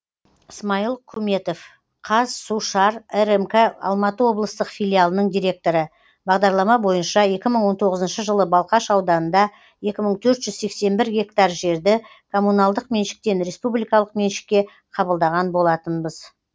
смайыл күметов қазсушар рмк алматы облыстық филиалының директоры бағдарлама бойынша екі мың он тоғызыншы жылы балқаш ауданында екі мың төрт жүз сексен бір гектар жерді коммуналдық меншіктен республикалық меншікке қабылдаған болатынбыз